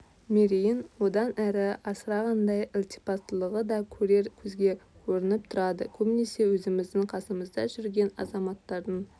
мерейін одан әрі асырғандай ілтипаттылығы да көрер көзге көрініп тұрады көбінесе өзіміздің қасымызда жүрген азаматтардың